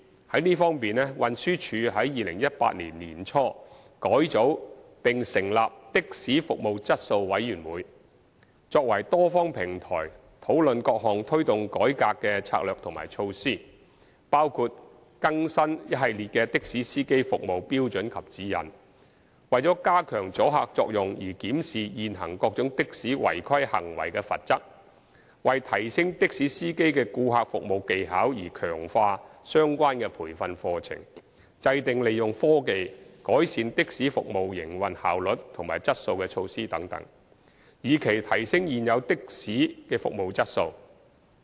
就這方面，運輸署在2018年年初改組並成立的士服務質素委員會，作為多方平台，討論各項推動改革的策略及措施，包括更新一系列的士司機服務標準及指引、為加強阻嚇作用而檢視現行各種的士違規行為的罰則、為提升的士司機的顧客服務技巧而強化相關培訓課程、制訂利用科技改善的士服務營運效率和質素的措施等，以期提升現有的士的服務質素。